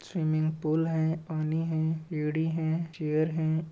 Swimming pool है। पानी है। है। चेयर है।